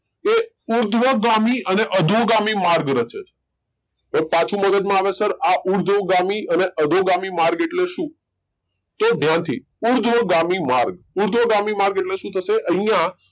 એ ઉર્ધ્વ ગામી અને અધો ગામી માર્ગ રાચે છે એક પાછું મગજ માં આવે રાઈટઆ ઉર્ધ્વ ગામી અને અધો ગામી માર્ગ એટલે શું તો ધ્યાન થી ઉર્ધ્વ ગામી માર્ગ ઉર્ધ્વ ગમી માર્ગ એટલે શું થશે આઇયા